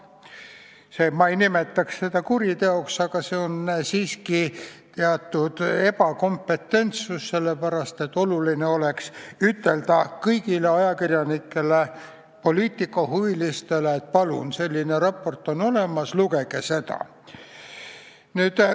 Ma ei nimetaks seda kuriteoks, aga see on siiski ebakompetentsus, sest oluline oleks ütelda kõigile ajakirjanikele ja poliitikahuvilistele, et palun, selline raport on olemas, lugege seda.